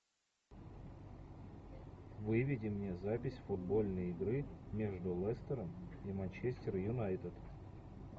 выведи мне запись футбольной игры между лестером и манчестер юнайтед